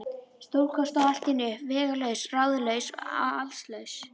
Stúlkan stóð allt í einu uppi vegalaus, ráðalaus og allslaus.